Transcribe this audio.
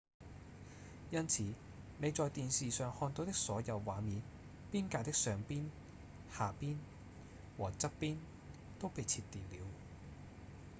因此你在電視上看到的所有畫面邊界的上邊、下邊和側邊都被切掉了